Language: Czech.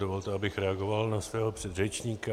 Dovolte, abych reagoval na svého předřečníka.